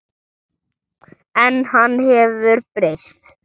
En hann hefur breyst.